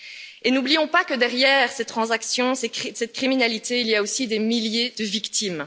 Et n'oublions pas que derrière ces transactions, cette criminalité, il y a aussi des milliers de victimes.